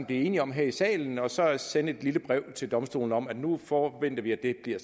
enige om her i salen og så sende et lille brev til domstolene om at nu forventer vi at det bliver